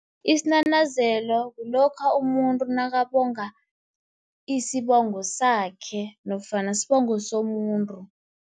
Isinanazelo kulokha umuntu nakabonga isibongo sakhe, nofana sibongo somuntu.